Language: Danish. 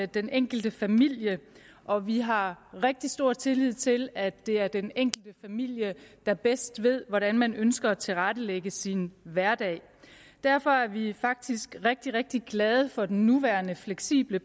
den enkelte familie og vi har rigtig stor tillid til at det er den enkelte familie der bedst ved hvordan man ønsker at tilrettelægge sin hverdag derfor er vi faktisk rigtig rigtig glade for den nuværende fleksible